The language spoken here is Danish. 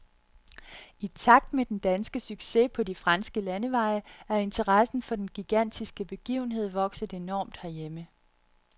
I takt med den danske succes på de franske landeveje er interessen for den gigantiske begivenhed vokset enormt herhjemme.